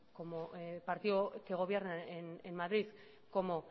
partido que gobiernan en madrid como